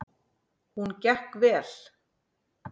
Hún gekk vel.